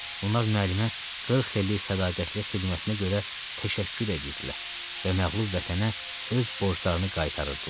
Onlar müəllimə qırx illik sədaqətli xidmətinə görə təşəkkür edirdilər və məğlub vətənə öz borclarını qaytarırdılar.